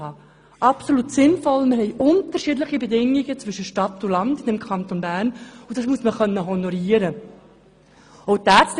Das ist absolut sinnvoll, denn im Kanton Bern haben wir in der Stadt andere Bedingungen als auf dem Land, und das muss man honorieren können.